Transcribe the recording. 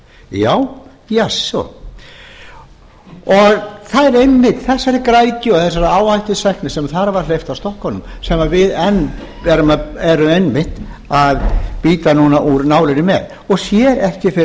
já jasso það er einmitt þessari græðgi og þessari áhættusækni sem þar var hleypt sf stokkunum sem við enn erum einmitt að bíta núna úr nálinni með og sér ekki fyrir